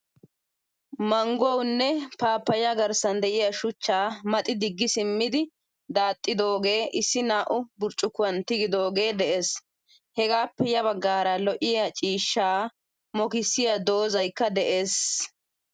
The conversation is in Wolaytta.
Mangguwaanne pappaya garssan deiya shuchcha maxi digi simmidi daaxxidoga issi naa'u burccukkuwan tigidogee de'ees. Hegappe ya bagaara lo'iyaa ciishsha mokkisiyaa doozaykka de'ees.